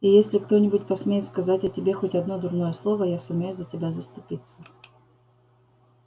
и если кто-нибудь посмеет сказать о тебе хоть одно дурное слово я сумею за тебя заступиться